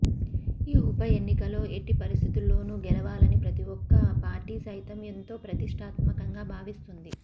ఈ ఉప ఎన్నికలో ఎట్టి పరిస్థితుల్లోనూ గెలవాలని ప్రతి ఒక్క పార్టీ సైతం ఎంతో ప్రతిష్టాత్మకంగా భావిస్తుంది